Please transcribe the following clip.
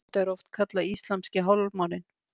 Þetta er oft kallað íslamski hálfmáninn.